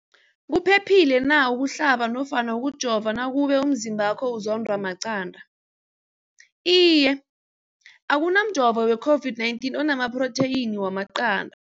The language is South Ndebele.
Umbuzo, kuphephile na ukuhlaba nofana ukujova nakube umzimbakho uzondwa maqanda. Ipendulo, iye. Akuna mjovo weCOVID-19 ona maphrotheyini wamaqanda.